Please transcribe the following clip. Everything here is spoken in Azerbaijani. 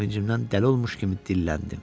Sevincimdən dəli olmuş kimi dilləndi.